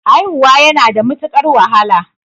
Haihuwa yana da matuqar wahala